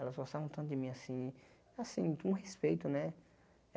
Elas gostavam tanto de mim, assim... Assim, com respeito, né?